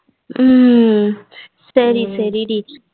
உம் சரி சரி டி